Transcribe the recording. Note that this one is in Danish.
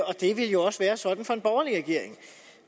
og det ville jo også være sådan for en borgerlig regering